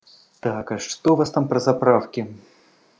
так а что у вас там про заправки